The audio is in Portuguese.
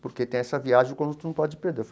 porque tem essa viagem o conjunto não pode perder.